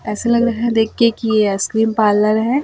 ऐसा लग रहा है देख के की ये आइसक्रीम पार्लर है।